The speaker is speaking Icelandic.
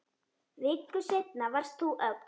Viku seinna varst þú öll.